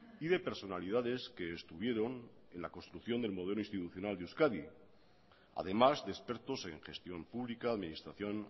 y de personalidades que estuvieron en la construcción del modelo institucional de euskadi además de expertos en gestión pública administración